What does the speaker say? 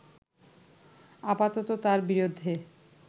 আপাতত তার বিরুদ্ধে